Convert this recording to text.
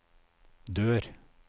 dør